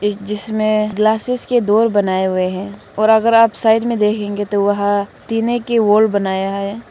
जिसमें ग्लासेस के डोर बनाए हुए हैं और अगर आप साइड में देखेंगे तो वह टीने की वॉल बनाया है।